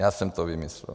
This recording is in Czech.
Já jsem to vymyslel.